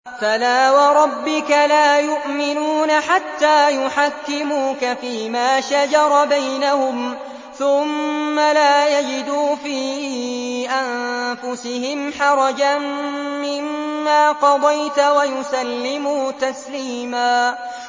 فَلَا وَرَبِّكَ لَا يُؤْمِنُونَ حَتَّىٰ يُحَكِّمُوكَ فِيمَا شَجَرَ بَيْنَهُمْ ثُمَّ لَا يَجِدُوا فِي أَنفُسِهِمْ حَرَجًا مِّمَّا قَضَيْتَ وَيُسَلِّمُوا تَسْلِيمًا